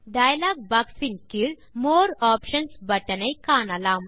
dialogue box இன் கீழ் more options button ஐ காணலாம்